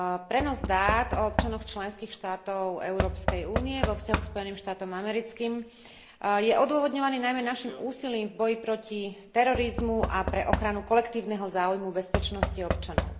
Prenos dát o občanoch členských štátov Európskej únie vo vzťahu k Spojeným štátom americkým je odôvodňovaný najmä naším úsilím v boji proti terorizmu a pre ochranu kolektívneho záujmu bezpečnosti občanov.